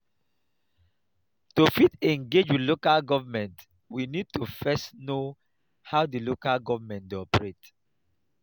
to fit engage with local government we need to first know how di local government dey operate